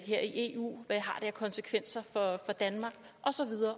her i eu hvad har det af konsekvenser for danmark